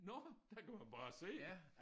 Nåh der kan man bare se